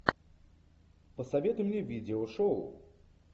посоветуй мне видео шоу